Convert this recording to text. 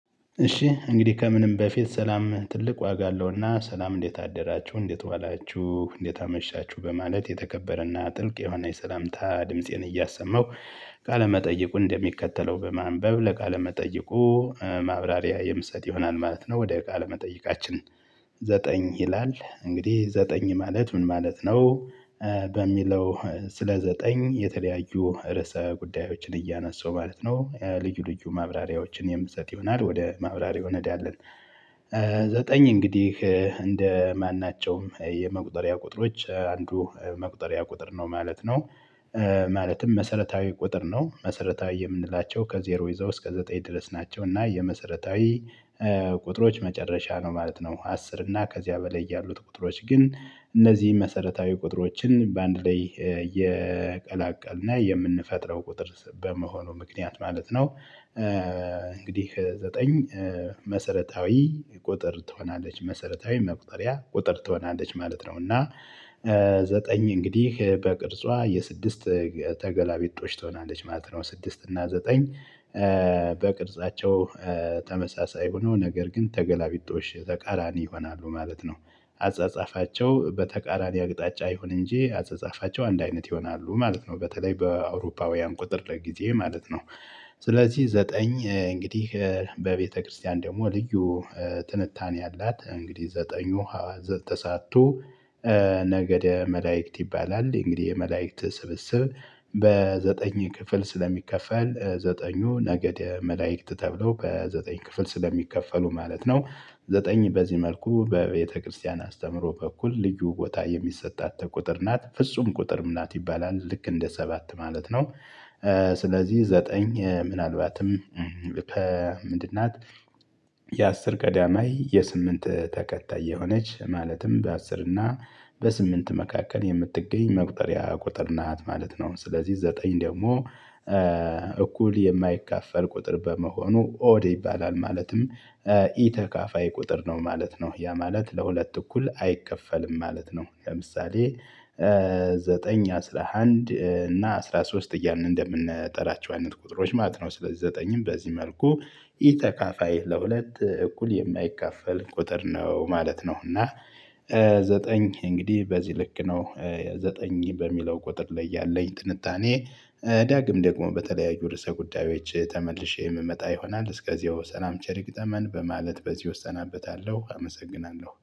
እሺ እንግዲህ ከምንም በፊት ሰላም ትልቅ ዋጋ አለውና ሰላም እንዴት አደራችሁ እንዴት ዋላችሁ እንዴት አመሻችሁ በማለት የተከበረና ጥልቅ የሆነ የሰላምታ ድምፄን እያሰመው ካለመጠየቁ እንደሚከተለው በማንበብ ለቃለ መጠይቁ ማብራሪያ የምሰጥ ይሆናል ማለት ነው። ወደ ቃለ መጠይቃችን ዘጠኝ ይላል እንግዲህ ዘጠኝ ማለት ምን ማለት ነው? በሚለው ስለ ዘጠኝ የተለያዩ ርዕሰ ጉዳዮችን እያነሳው ማለት ነው ልዩ ልዩ ማብራሪያዎችን የምሰጥ ይሆናል ወደ ማብራሪያው እንሄዳለን። ዘጠኝ እንግዲህ እንደማናቸውም የመቁጠሪያ ቁጥሮች አንዱ መቁጠሪያ ቁጥር ነው ማለት ነው። ማለትም መሰረታዊ ቁጥር ነው መሰረታዊ የምንላቸው ከዜሮ ይዘው እስከ ዘጠኝ ድረስ ናቸው። እና የመሰረታዊ ቁጥሮች መጨረሻ ነው ማለት ነው። አስር እና ከዚያ በላይ ያሉት ቁጥሮች ግን እነዚህን መሰረታዊ ቁጥሮችን በአንድ ላይ የቀላቀልን የምንፈጥረው ቁጥር በመሆኑ ምክንያት ማለት ነው። እንግዲህ ዘጠኝ መሰረታዊ ቁጥር ትሆናለች መሰረታዊ መቁጠሪያ ቁጥር ትሆናለች ማለት ነው። እና ዘጠኝ እንግዲህ በቅርጿ የስድስት ተገላቢጦች ትሆናለች ማለት ነው። ስድስት እና ዘጠኝ በቅርጻቸው ተመሳሳይ ሆኖ ነገር ግን ተገላቢጦሽ ተቃራኒ ይሆናሉ ማለት ነው። አጻጻፋቸው በተቃራኒ አቅጣጫ ይሁን እንጂ አጻጻፋቸው አንድ አይነት ይሆናሉ ማለት ነው። በተለይ በአውሮፓውያን ቁጥር ጊዜ ማለት ነው። ስለዚህ ዘጠኝ እንግዲህ በቤተክርስቲያን ደግሞ ልዩ ትንታኔ አላት። እንግዲህ ዘጠኙ ተሳቱ ነገደ መላእክት ይባላል እንግዲህ የመላእክት ስብስብ በዘጠኝ ክፍል ስለሚከፈል ዘጠኙ ነገደ መላእክት ተብሎ በዘጠኝ ክፍል ስለሚከፈሉ ማለት ነው። ዘጠኝ በዚህ መልኩ በቤተክርስቲያን አስተምሮ በኩል ልዩ ቦታ የሚሰጣት ቁጥር ናት ፍጹም ቁጥርም ናት ይባላል ልክ እንደ ሰባት ማለት ነው። ስለዚህ ዘጠኝ ምናልባትም ልክ ምንድን ናት? የአስር ቀዳማይ የስምንት ተከታይ የሆነች ማለትም በአስር እና በስምንት መካከል የምትገኝ መቁጠሪያ ቁጥር ናት ማለት ነው። ስለዚህ ዘጠኝ ደግሞ እኩል የማይካፈል ቁጥር በመሆኑ ኦድ ይባላል ማለትም ኢተካፋይ ቁጥር ነው ማለት ነው። ያ ማለት ለሁለት እኩል አይከፈልም ማለት ነው። ለምሳሌ ዘጠኝ አስራ አንድ እና አስራ ሶስት እያልን እንደምንጠራቸው አይነት ቁጥሮች ማለት ነው። ስለዚህ ዘጠኝም በዚህ መልኩ ኢተካፋይ ለሁለት እኩል የማይካፋል ቁጥር ነው ማለት ነው። እና ዘጠኝ እንግዲህ በዚህ ልክ ነው ዘጠኝ በሚለው ቁጥር ላይ ያለኝ ጥንታኔ። ዳግም ደግሞ በተለያዩ ርዕሰ ጉዳዮች ተመልሼ የምመጣ ይሆናል እስከዚያው ሰላም ቸር ይግጠመን በማለት በዚህ እሰናበታለሁ አመሰግናለሁ